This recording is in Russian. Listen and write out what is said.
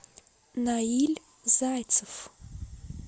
наиль зайцев